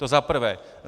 To za prvé.